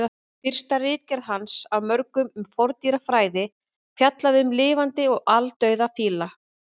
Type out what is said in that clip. Fyrsta ritgerð hans af mörgum um forndýrafræði fjallaði um lifandi og aldauða fíla.